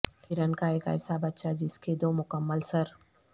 ہرن کا ایک ایسا بچہ جس کے دو مکمل سر